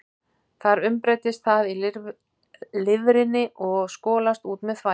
Þar umbreytist það í lifrinni og skolast út með þvagi.